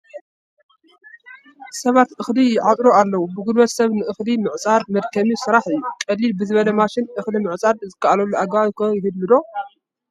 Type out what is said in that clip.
ሰባት እኽሊ ይዓፅዱ ኣለዉ፡፡ ብጉልበት ሰብ ንእኽሊ ምዕፃድ መድከሚ ስራሕ እዩ፡፡ ቅልል ብዝበለ ማሽን እኽሊ ምዕፃድ ዝከኣለሉ ኣገባብ ከ ይህሉ ዶ?